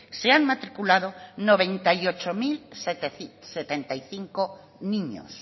se han matriculado noventa y ocho mil setenta y cinco niños